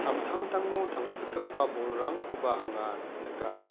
samtangtango tangsikgipa bolrangkoba anga nika.